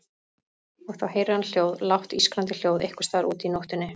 Og þá heyrir hann hljóð, lágt ískrandi hljóð einhvers staðar úti í nóttinni.